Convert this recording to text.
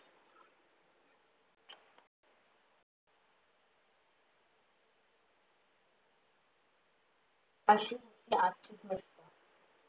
अशी.